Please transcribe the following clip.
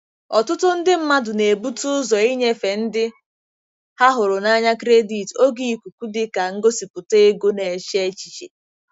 Ọtụtụ ndị mmadụ na-ebute ụzọ ịnyefe ndị ha hụrụ n'anya kredit oge ikuku dị ka ngosipụta ego na-eche echiche.